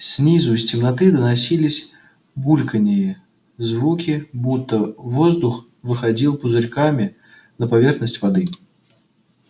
снизу из темноты доносились булькания звуки будто воздух выходил пузырьками на поверхность воды